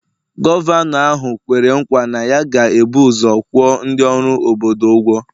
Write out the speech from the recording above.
Gọvanọ ahụ kwere nkwa na ya ga-ebu ụzọ kwụọ ndị ọrụ obodo ụgwọ